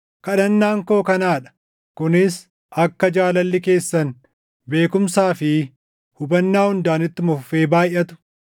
Kadhannaan koo kanaa dha: kunis akka jaalalli keessan beekumsaa fi hubannaa hundaan ittuma fufee baayʼatu,